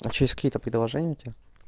а что есть какие-то предложения у тебя